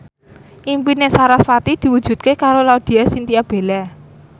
impine sarasvati diwujudke karo Laudya Chintya Bella